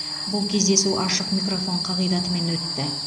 бұл кездесу ашық микрофон қағидатымен өтті